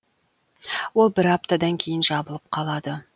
ол бір аптадан кейін жабылып қалады